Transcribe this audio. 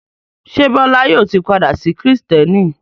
Ṣé Bọ́lá yóò ti padà sí Kìrìtẹ́ẹ́nì?